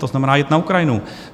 To znamená jet na Ukrajinu.